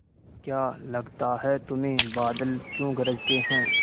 क्या लगता है तुम्हें बादल क्यों गरजते हैं